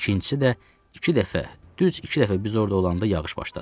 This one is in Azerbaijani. İkincisi də, iki dəfə, düz iki dəfə biz orda olanda yağış başladı.